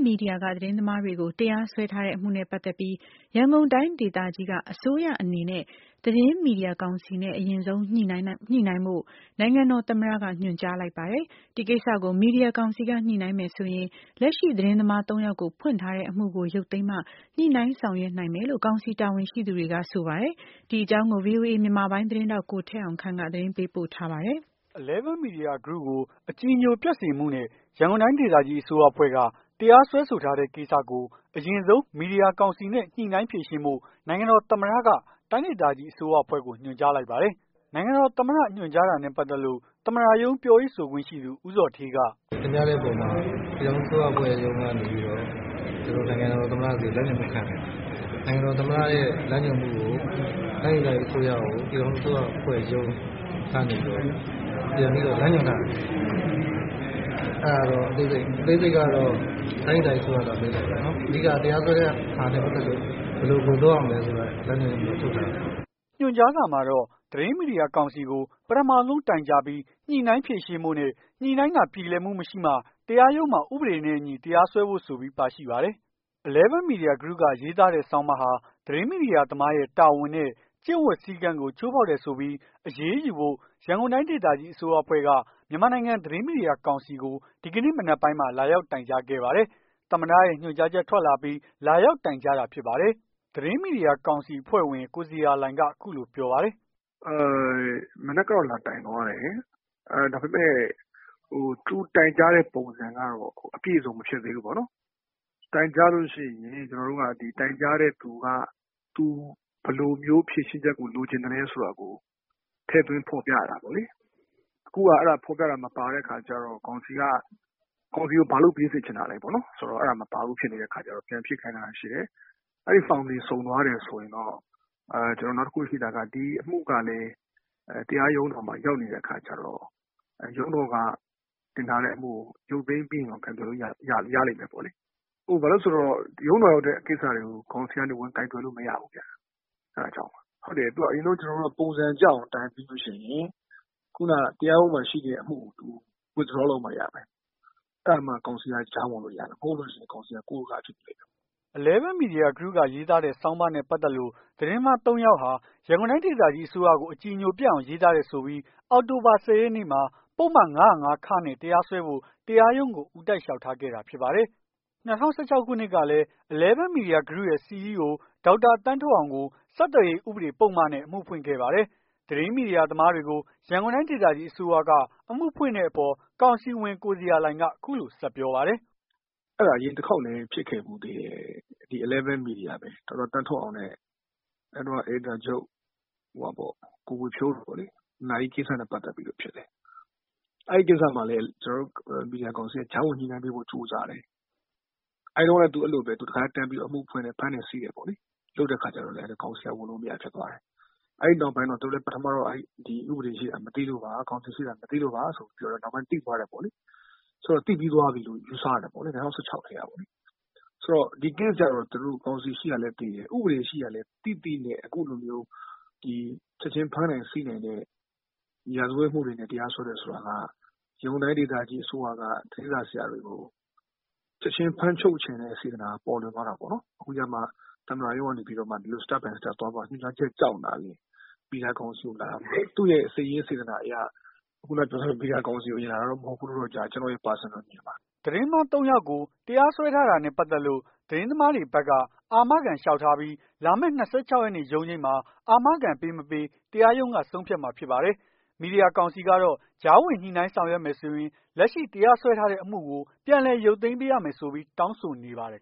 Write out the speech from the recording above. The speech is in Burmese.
media က သတင်းသမားတွေကို တရားစွဲထားတဲ့အမှုနဲ့ပတ်သက်ပြီး ရန်ကုန်တိုင်းဒေသကြီးက အစိုးရအနေနဲ့ သတင်းမီဒီယာကောင်စီနဲ့ အရင်ဆုံး ညှိနှိုင်းဖို့ နိုင်ငံတော် သမ္မတက ညွှန်ကြားလိုက်ပါတယ်။ ဒီကိစ္စကို မီဒီယာ ကောင်စီက ညှိနှိုင်းမယ်ဆိုရင် လက်ရှိ သတင်း သမား ၃ ယောက်ကို ဖွင့်ထားတဲ့အမှုကို ရုပ်သိမ်းမှ ညှိနှိုင်းဆောင်ရွက်နိုင်မယ်လို့ ကောင်စီ တာဝန်ရှိသူတွေက ဆိုပါတယ်။ ဒီအကြောင်းကို ဗွီအိုအေ မြန်မာပိုင်း သတင်းထောက် ကိုထက်အောင်ခန့်က သတင်းပေးပို့ထားပါတယ်။ Eleven Media Group ကို အကြည်ညို ပျက်စေမှုနဲ့ ရန်ကုန်တိုင်းဒေသကြီးအစိုးရအဖွဲ့က တရားစွဲဆိုထား တဲ့ကိစ္စကို အရင်ဆုံး မီဒီယာကောင်စီနဲ့ ညှိနှိုင်း ဖြေရှင်းဖို့ နိုင်ငံတော် သမ္မတက တိုင်းဒေသကြီးအစိုးရအဖွဲ့ကို ညွှန်ကြားလိုက်ပါတယ်။ နိုင်ငံတော် သမ္မတညွှန်ကြားတာနဲ့ ပတ်သက်လို့ သမ္မတရုံးပြောရေးဆိုခွင့်ရှိသူ ဦးဇော်ဌေးက "တင်ပြတဲ့အပေါ်မှာ ပြည်ထောင်စုအစိုးရအဖွဲ့ရုံးကနေပြီးတော့ ကျွန်တော်တို့ နိုင်ငံတော်သမ္မတဆီကို လမ်းညွှန်မှုခံတယ်။ နိုင်ငံတော် သမ္မတရဲ့ လမ်းညွှန်မှုကို တိုင်းဒေသကြီးအစိုးရကို ပြည်ထောင်စုအစိုးရ အဖွဲ့ရုံး ကနေပြီးတော့ ပြန်ပြီးတော့ လမ်းညွှန်တာ အသေးစိတ်ကတော့ တိုင်းဒေသကြီး အစိုးရသာ မေးလိုက်ပါ။ အဓိက က တရားစွဲတာနဲ့ ပတ်သက်လို့ ဘယ်လို ဘယ်လို လုပ်ရမလည်းဆိုတဲ့ဟာကို လမ်းညွှန်မှု ထုတ်ထားတာပါ။" ညွှန်ကြားစာမှာတော့ သတင်းမီဒီယာကောင်စီကို ပထဆုံးတိုင်ကြားပြီး ညှိနှိုင်းဖြေရှင်းဖို့နဲ့ ညှိနှိုင်းတာ ပြေလည်မှု မရှိမှ တရားရုံးမှာ ဥပဒေနဲ့ အညီတရားစွဲဖို့ဆိုပြီး ပါရှိပါတယ်။ Eleven Media Group က ရေးသားတဲ့ ဆောင်းပါးဟာ သတင်းမီဒီယာသမားရဲ့ တာဝန်နဲ့ ကျင့်ဝတ်စည်းကမ်း ကို ချိုးဖောက်တယ်ဆိုပြီး အရေးယူဖို့ ရန်ကုန်တိုင်းဒေသကြီး အစိုးရအဖွဲ့က မြန်မာနိုင်ငံ သတင်းမီဒီယာ ကောင်စီကို ဒီကနေ့ မနက်ပိုင်းမှာ လာရောက် တိုင်ကြားခဲ့ပါတယ်။ သမ္မတရဲ့ ညွန်ကြားချက်ထွက်လာအပြီး လာရောက်တိုင် ကြားတာဖြစ်ပါတယ်။ သတင်းမီဒီယာကောင်စီ ကောင်စီအဖွဲ့ဝင် ကိုဇေယျာလှိုင်က အခုလိုပြောပါတယ်။ "မနက်ကတော့ လာတိုင်သွားတယ်။ ဒါပေမယ့် သူတိုင်ကြားတဲ့ပုံစံက အပြည့်အစုံမဖြစ်သေးဘူးပေါ့နော်။ တိုင်ကြားလို့ရှိရင် တိုင်ကြားတဲ့သူက သူဘယ်လိုမျိုး ဖြေရှင်းချက်ကိုလိုချင်လည်းဆိုတာကို ထည့်သွင်း ဖော်ပြ ရတာပေါ့လေ။ အခုဟာ ဖော်ပြတာမပါတဲ့ဟာကျတော့ ကောင်စီက ကောင်စီကို ဘာလုပ်ပေးစေချင်တာလည်း ပေါ့နော် ဆိုတော့ အဲ့ဒါမပါဘူးဖြစ်နေတဲ့အခါကျတော့ ပြန်ဖြည့်ခိုင်းထားတာ ရှိတယ်။ အဲ့ဖောင်တွေစုံသွားတယ် ဆိုရင်တော့ ကျွန်တော်တို့ နောက်တခုရှိတာက ဒီအမှုကလည်း တရားရုံးတော်မှာ ရောက်နေတဲ့အခါကျတော့ ရုံးတော်က တင်ထားတဲ့အမှုကို ရုပ်သိမ်းပေးရင်တော့ ကိုင်တွယ်လို့ရပြီ ရလိမ့်မယ်ပေါ့လေ။ ဘာလို့လည်းဆို တော့ ရုံးတော်ရောက်တဲ့ ကိစ္စတွေကို ကောင်စီက ဝင်ကိုင်တွယ်လို့မရဘူးဗျ။ အဲ့ဒါကြောင့်ပါ။ သူတို့က အရင်ဆုံး ပုံစံကျအောင်တိုင်ရပြီးလို့ရှိရင် ခုနက တရားရုံးမှာရှိနေတဲ့အမှုကို Withdraw လုပ်ရမယ်။ အဲ့ဒါမှ ကောင်စီက ကြားဝင်လို့ရမှာ မဟုတ်လို့ရှိရင် ကောင်စီက ကို့ရိုးကားယားဖြစ်မယ်။" Eleven Media Group က ရေးသားတဲ့ ဆောင်းပါးနဲ့ပတ်သက်လို့ သတင်းသမား ၃ ယောက်ဟာ ရန်ကုန်တိုင်း ဒေသကြီးအစိုးရကို အကြည်ညိုပျက်အောင် ရေးသားတယ်ဆိုပြီး အောက်တိုဘာ ၁၀ ရက်နေ့မှာ ပုဒ်မ ၅၀၅ နဲ့ တရားစွဲဖို့ တရားရုံးကို ဦးတိုက်လျောက်ထားခဲ့တာဖြစ်ပါတယ်။ ၂၀၁၆ ခုနှစ်ကလည်း Eleven Media Group ရဲ့ CEO ဒေါက်တာ သန်းထွဋ်အောင်ကို ဆက်သွယ်ရေး ဥပဒေနဲ့ အမှုဖွင့်ခဲ့ပါသေးတယ်။ သတင်းမီဒီယာသမားတွေကို ရန်ကုန်တိုင်း ဒေသကြီးအစိုးရက အမှုဖွင့်တဲ့အပေါ် ကောင်စီဝင် ကိုဇေယျာလှိုင်က အခုလို ဆက်ပြောပါတယ်။ "အဲ့ဒါအရင်တခေါက်လည်းဖြစ်ခဲ့ဖူးသေးတယ်။ ဒီ Eleven Media ပဲ ဒေါက်တာ သန်းထွဋ်အောင်နဲ့ အဲ့တုန်းက အယ်ဒီတာချုပ် ကိုဝေဖြိုးတို့ပေါ့လေ။ နာရီကိစ္စနဲ့ပတ်သက်ပြီးဖြစ်တယ်။ အဲ့ကိစ္စမှာလည်း ကျွန်တာ်တို့ မီဒီယာ ကောင်စီက ကြားဝင်ညှိနှိုင်းပေးဖို့ ကြိုးစားတယ်။ အဲ့တုန်းကလည်း သူတခါတည်း အမှုဖွင့်တယ် ဖမ်းတယ်ဆီး တယ်ပေါ့လေ။ လုပ်တဲ့အခါကျတော့ ကောင်စီက ဝင်လို့မရဖြစ်သွားတယ်။ အဲ့နောက်ပိုင်းတော့ သူတို့ ပထမ ပိုင်းက ဥပဒေရှိတာ မသိလို့ပါ ကောင်စီရှိတာ မသိလို့ပါဆိုပြီးပြောတော့ နောက်ပိုင်းသိသွားတယ်ပေါ့လေ။ ဆိုတော့ သိပြီးသွားပြီလို့ ယူဆရတယ်ပေါ့လေ။ ၂၀၁၆ ကတည်းကပေါ့လေ။ ဆိုတော့ ဒီ Case ကျတော့ ကောင်စီရှိတာလည်း သိတယ်။ ဥပဒေရှိတာလည်းသိတယ်။ သိသိနဲ့အခုလိုမျိုး ဒီချက်ချင်းဖမ်းနိုင်ဆီးနိုင်တဲ့ ရာဇဝတ်မှုတွေနဲ့ တရားစွဲတယ်ဆိုတာက ရန်ကုန်တိုင်းဒေသကြီး အစိုးရက သတင်းစာ ဆရာတွေကို ချက်ချင်း ဖမ်းချုပ်ချင်တဲ့ စေတနာပေါ်လွင် သွားတာပေါ့နော်။ အခုကျတော့မှ သမ္မတရုံးကနေပြီးတော့မှ ဒီလို Step by Step သွားပါ ညွှန်ကြားချက်ကြောင့်သာလျှင် မီဒီယာကောင်စီကိုလာတာ။ သူရဲ့စိတ်ရင်းစေတနာအရ ခုနက ပြောသလို မီဒီယာ ကောင်စီကို အရင်လာတာတော့မဟုတ်ဘူး။ ကျွန်တော့်ရဲ့ Personal အဖြေပါ။" သတင်းသမား ၃ ယောက်ကို တရားစွဲထားတာနဲ့ပတ်သက်လို့ သတင်း သမားတွေဘက်က အာမခံလျှောက်ထားပြီး လာမယ့် ၂၆ ရက်နေ့ ရုံးချိန်းမှာ အာမခံပေးမပေး တရားရုံးက ဆုံးဖြတ်မှာ ဖြစ်ပါတယ်။ မီဒီယာကောင်စီကတော့ ကြားဝင်ညှိနှိုင်းဆောင်ရွက်ဖို့ဆိုရင် လက်ရှိတရားစွဲဆိုထားတဲ့ အမှုကို ပြန်လည် ရုပ်သိမ်းပေးရမယ်ဆိုပြီး တောင်းဆိုနေပါတယ်